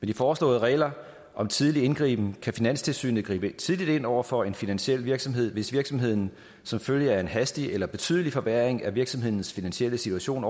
de foreslåede regler om tidlig indgriben kan finanstilsynet gribe tidligt ind over for en finansiel virksomhed hvis virksomheden som følge af en hastig eller betydelig forværring af virksomhedens finansielle situation